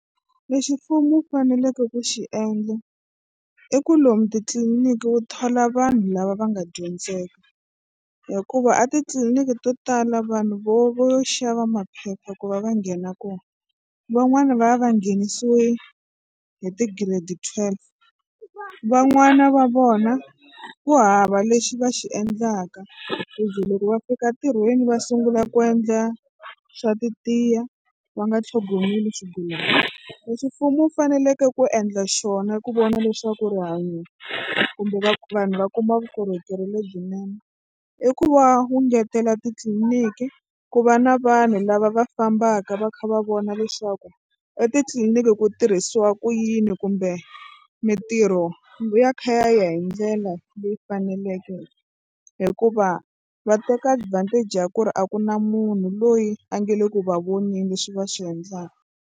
Lexi mfumo wu faneleke ku xi endla i ku lomu titliliniki wu thola vanhu lava va nga dyondzeka hikuva a titliliniki to tala vanhu vo vo yo xava maphepha ku va va nghena kona. Van'wani va va va nghenisiwe hi ti-grade twelve van'wana va vona ku hava lexi va xi endlaka ku ze loko va fika ntirhweni va sungula ku endla xa titiya va nga tlhogomeli swigulana. Leswi mfumo wu faneleke ku endla xona ku vona leswaku rihanyo kumbe vanhu va kuma vukorhokeri lebyinene i ku va wu engetela titliliniki ku va na vanhu lava va fambaka va kha va vona leswaku etitliliniki ku tirhisiwa ku yini kumbe mitirho ya kha ya ya hi ndlela leyi faneleke hikuva va teka advantage ya ku ri a ku na munhu loyi a nga le ku va voneni leswi va swi endlaka.